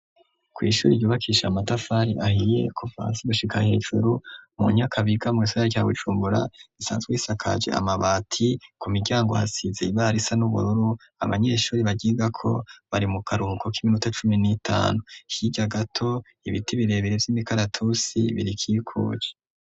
Kw'ishuri ryubakisha amatafari ahiye kufansi gushika hejuru mu nyakabiga mu'saya tya wucumbura isanzwe isakaje amabati ku miryango hasize ibara isa n'ubururu abanyeshuri bagiga ko bari mu karuko k'iminota cumi n'itanu hirya gato ibiti birebere vy'imikaratusi birikikuje.